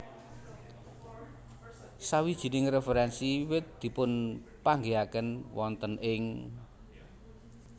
Sawijining referensi wiwit dipunpanggihaken wonten ing